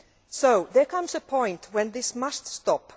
So there comes a point when this must stop.